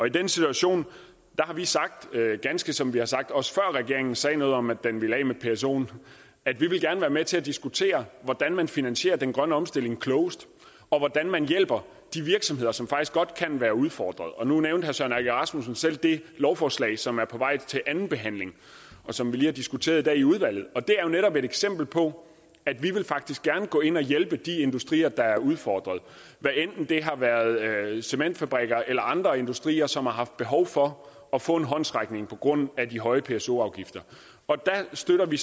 i den situation har vi sagt ganske som vi har sagt også før regeringen sagde noget om at den ville af med psoen at vi gerne vil være med til at diskutere hvordan man finansierer den grønne omstilling klogest og hvordan man hjælper de virksomheder som faktisk godt kan være udfordret nu nævnte herre søren egge rasmussen selv det lovforslag som er på vej til at blive andenbehandlet og som vi har diskuteret i dag i udvalget det er jo netop et eksempel på at vi faktisk gerne vil gå ind og hjælpe de industrier der er udfordret hvad enten det er cementfabrikker eller andre industrier som har haft behov for at få en håndsrækning på grund af de høje pso afgifter der støtter vi